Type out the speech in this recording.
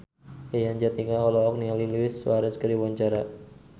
Yayan Jatnika olohok ningali Luis Suarez keur diwawancara